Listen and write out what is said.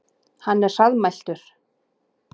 Hann er hraðmæltur.